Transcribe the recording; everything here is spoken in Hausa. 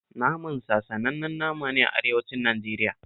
Naman sa sanannen nama ne a arewacin Najeriya